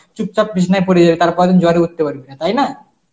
চুপচাপ বিছানায় পড়ে যাবি তারপর দিন জ্বরে উঠতে পারবি না, তাই না?